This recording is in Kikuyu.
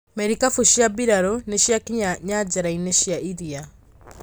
Merikabu cia mbirarũ nĩciakinya nyanjaraĩnĩ cia iria.